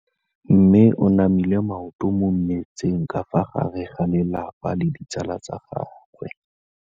Mme o namile maoto mo mmetseng ka fa gare ga lelapa le ditsala tsa gagwe.